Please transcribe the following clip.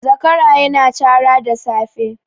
Zakara ya na cara da safe